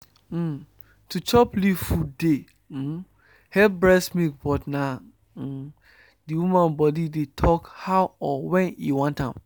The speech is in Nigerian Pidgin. um to chop leaf food dey um help breast milk but na um d woman body dey talk how or wen e want am.